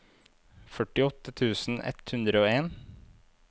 førtiåtte tusen ett hundre og en